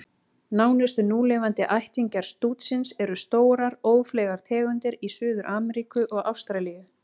Nánustu núlifandi ættingjar stútsins eru stórar, ófleygar tegundir í Suður-Ameríku og Ástralíu.